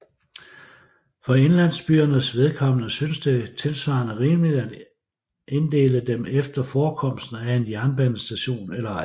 For indlandsbyernes vedkommende synes det tilsvarende rimeligt at inddele dem efter forekomsten af en jernbanestation eller ej